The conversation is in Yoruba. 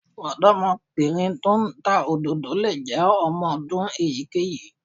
Ọ̀dọ́mọbìnrin tó ń ta òdòdó lè jẹ́ ọmọ ọdún èyíkéyìí